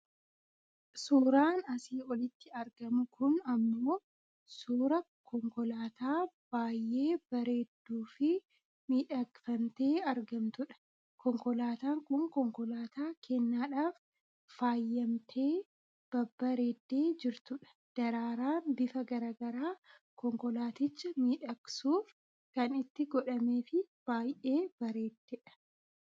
Suuraan asii olitti argamu kun ammoo suuraa konkolaataa baayyeebareedduufi miidhagfamtee argamtudha. Konkolaataan kun konkolaataa kennaadhaaf faayyamtee babbareedde jirtudha. Daraaraan bifa gara garaa konkolaaticha miidhagsuuf kan itti godhamee fi bayyee bareeddedha.